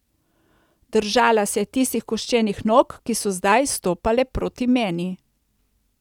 Držala se je tistih koščenih nog, ki so zdaj stopale proti meni.